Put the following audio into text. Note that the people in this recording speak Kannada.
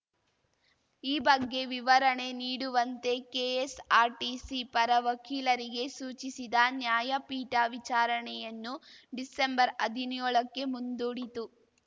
ಈ ಬಗ್ಗೆ ವಿವರಣೆ ನೀಡುವಂತೆ ಕೆಎಸ್‌ಆರ್‌ಟಿಸಿ ಪರ ವಕೀಲರಿಗೆ ಸೂಚಿಸಿದ ನ್ಯಾಯಪೀಠ ವಿಚಾರಣೆಯನ್ನು ಡಿಸೆಂಬರ್ಹದಿನ್ಯೋಳಕ್ಕೆ ಮುಂದೂಡಿತು